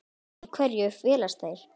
Í hverju felast þeir?